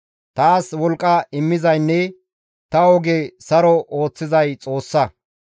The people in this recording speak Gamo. Taas wolqqa immizaynne ta oge saro ooththizay Xoossa.